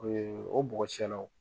Ee o bɔgɔ cɛlaw